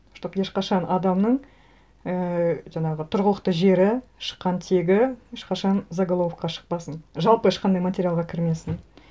чтобы ешқашан адамның ііі жаңағы тұрғылықты жері шыққан тегі ешқашан заголовокқа шықпасын жалпы ешқандай материалға кірмесін